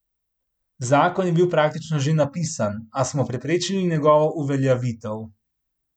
Zakon je bil praktično že napisan, a smo preprečili njegovo uveljavitev.